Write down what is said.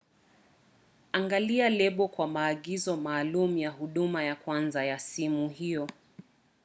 angalia lebo kwa maagizo maalum ya huduma ya kwanza ya sumu hiyo